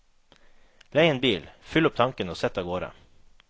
Lei en bil, fyll opp tanken og sett av gårde.